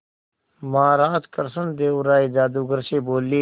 महाराज कृष्णदेव राय जादूगर से बोले